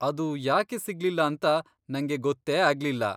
ಅದು ಯಾಕೆ ಸಿಗ್ಲಿಲ್ಲ ಅಂತ ನಂಗೆ ಗೊತ್ತೇ ಆಗ್ಲಿಲ್ಲ.